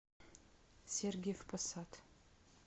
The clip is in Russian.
сергиев посад